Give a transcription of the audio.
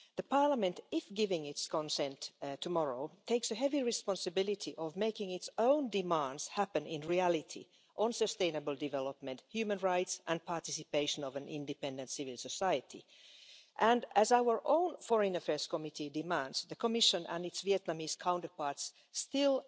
Parliament, if giving its consent tomorrow, takes a heavy responsibility of making its own demands happen in reality on sustainable development, human rights and participation of an independent civil society, and, as our own Committee on Foreign Affairs demands, the Commission and its Vietnamese counterparts still